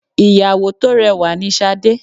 Ìyàwó tó rẹwà ni Sade.